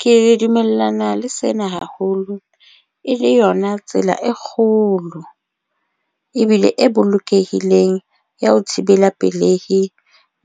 Ke dumellana le sena haholo e le yona tsela e kgolo ebile e bolokehileng ya ho thibela pelehi